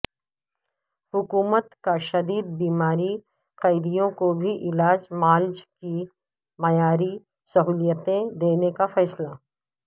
حکومت کا شدید بیمار قیدیوں کو بھی علاج معالجے کی معیاری سہولتیں دینے کا فیصلہ